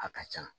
A ka ca